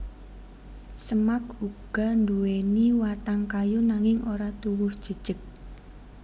Semak uga nduwèni watang kayu nanging ora tuwuh jejeg